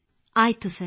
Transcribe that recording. ಆಯಿತು ಸರ್